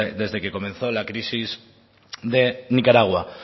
desde que comenzó la crisis de nicaragua